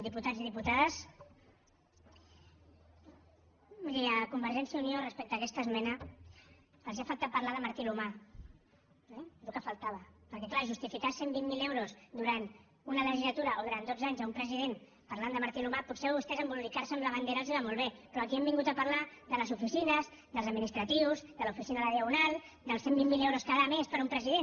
diputats i diputades miri a convergència i unió respecte a aquesta esmena els ha faltat parlar de martí l’humà el que faltava perquè clar justificar cent i vint miler euros durant una legislatura o durant dotze anys a un president parlant de martí l’humà potser a vostès embolicar se amb la bandera els va molt bé però aquí hem vingut a parlar de les oficines dels administratius de l’oficina de la diagonal dels cent i vint miler euros cada mes per a un president